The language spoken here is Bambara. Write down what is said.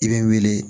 I bɛ n wele